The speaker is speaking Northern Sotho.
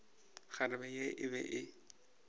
kgarebe ye e be e